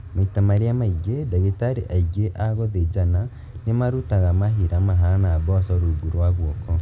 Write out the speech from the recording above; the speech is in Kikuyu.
Maita marĩa maingĩ, ndagĩtarĩ aingĩ a gũthĩnjana nĩmarutaga mahira mahana mboco rungu rwa guoko